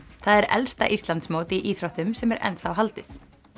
það er elsta Íslandsmót í íþróttum sem er enn þá haldið